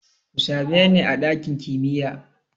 Ku same ni a ɗakin kimiya!